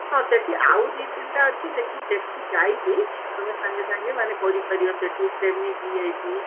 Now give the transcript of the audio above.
ହଁ ସେଠି ଆଉ ଦି ତିନିଟା ଅଛି ଯେ କି ସେଠି ଯାଇକି ଅତମେ ସାଙ୍ଗେ ସାଙ୍ଗେ ମାନେ କରିପାରିବ ସେଠି semi VIP